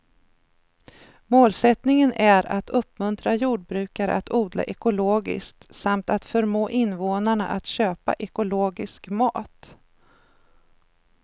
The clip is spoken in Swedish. Målsättningen är att uppmuntra jordbrukare att odla ekologiskt samt att förmå invånarna att köpa ekologisk mat.